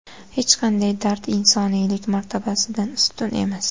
Hech qanday dard insoniylik martabasidan ustun emas.